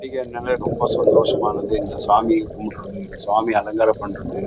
பண்டிகை நாலே ரொம்ப சந்தோஷமானது இங்க சாமி கும்புடறவங்க்கு சாமி அலங்காரம் பண்றது.